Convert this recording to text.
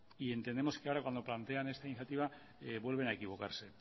y entendemos que ahora cuando plantean esta iniciativa vuelven a equivocarse